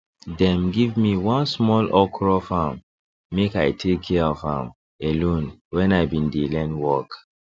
dem give me one small okro farm make i take care of am alone when i been dey learn work